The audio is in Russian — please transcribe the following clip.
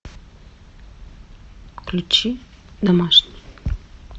включи домашний